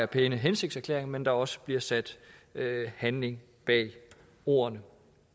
pæne hensigtserklæringer men også bliver sat handling bag ordene